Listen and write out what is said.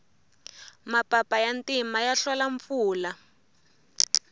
mapapa ya ntima ya hlola mpfula